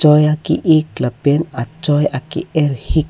choi a ki ik lapen choi ake er hik.